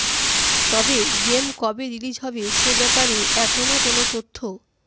তবে গেম কবে রিলিজ হবে সে ব্যাপারে এখনও কোনও তথ্য